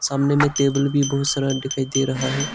सामने में टेबल भी बहुत सारा दिखाई दे रहा है।